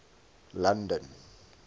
london